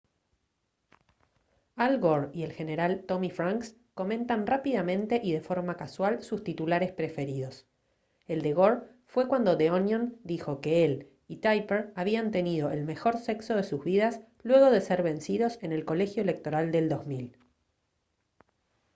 al gore y el general tommy franks comentan rápidamente y de forma casual sus titulares preferidos el de gore fue cuando the onion dijo que él y tipper habían tenido el mejor sexo de sus vidas luego de ser vencidos en el colegio electoral del 2000